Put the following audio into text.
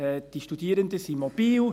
Die Studierenden sind mobil.